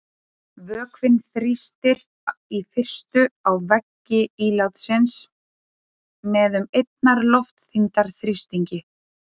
Vökvinn þrýstir í fyrstu á veggi ílátsins með um einnar loftþyngdar þrýstingi.